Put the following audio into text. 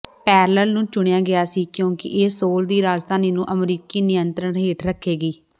parallel ਨੂੰ ਚੁਣਿਆ ਗਿਆ ਸੀ ਕਿਉਂਕਿ ਇਹ ਸੋਲ ਦੀ ਰਾਜਧਾਨੀ ਨੂੰ ਅਮਰੀਕੀ ਨਿਯੰਤਰਣ ਹੇਠ ਰੱਖੇਗੀ